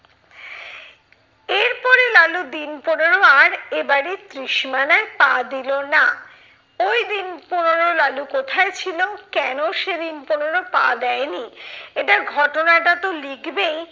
এরপরে লালু দিন পনেরো আর এ বাড়ির ত্রিসীমানায় পা দিলো না। ওই দিন পনেরো লালু কোথায় ছিল? কেন সে দিন পনেরো পা দেয়নি? এটার ঘটনাটা তো লিখবেই